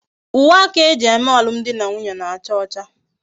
Uwe aka eji eme alum di na nwunye na-acha ocha